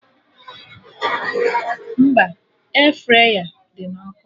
Mba, Air fraya dị na ọkụ